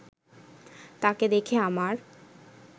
তাকে দেখে আমার